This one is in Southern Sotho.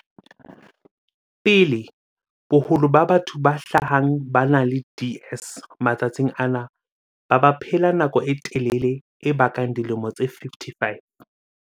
pele, boholo ba batho ba hlahang ba ena le DS matsatsing ana ba baphela nako e telele e kabang dilemo tse 55.